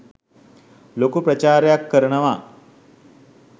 ලොකු ප්‍රචාරයක් කරනවා